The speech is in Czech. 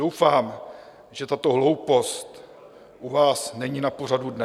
Doufám, že tato hloupost u vás není na pořadu dne.